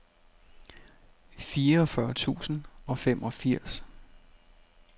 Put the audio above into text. fireogfyrre tusind og femogfirs